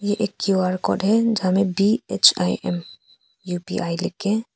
ये एक Q R code है जहां में बी_एच_आई_एम यू_पी_आई लिख के--